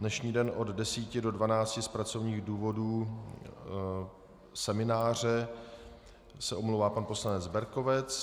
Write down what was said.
Dnešní den od 10 do 12 z pracovních důvodů semináře se omlouvá pan poslanec Berkovec.